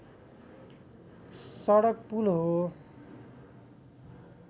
सडक पुल हो